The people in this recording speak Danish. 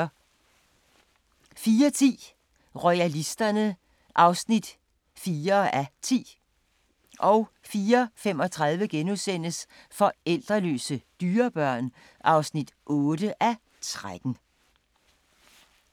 04:10: Royalisterne (4:10) 04:35: Forlældreløse dyrebørn (8:13)*